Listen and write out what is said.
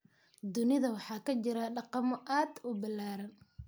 Dunida waxaa ka jira dhaqamo aad u ballaaran.